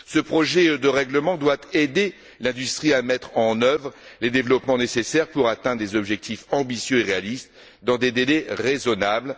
Ce projet de règlement doit aider l'industrie à mettre en œuvre les développements nécessaires pour atteindre des objectifs ambitieux et réalistes dans des délais raisonnables.